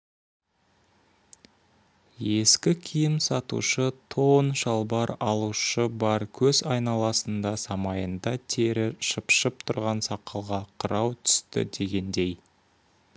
ескі киім сатушы тон-шалбар алушы бар көз айналасында самайында тер шыпшып тұр сақалға қырау түсті дегендей